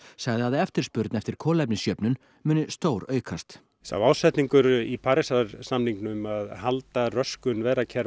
sagði að eftirspurn eftir kolefnisjöfnun muni stóraukast sá ásetningur í Parísar samningnum að halda röskun